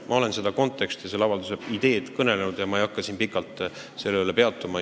Ma olen selle kontekstist ja ideest kõnelenud ega hakka siin pikalt sellel peatuma.